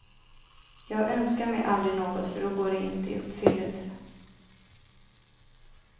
Jag önskar mig aldrig något, för då går det inte i uppfyllelse.